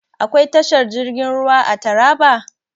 Akwai tashar jirgin ruwa a Taraba?